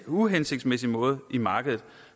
uhensigtsmæssig måde i markedet